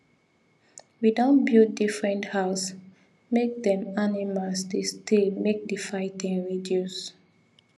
we don build differnt house make them animals dey stay make the fighting reduce